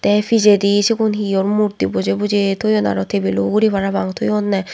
te pijedi sigun heyour murti bojey bojey toyoun aro tebilo ugurey parapang toyounne.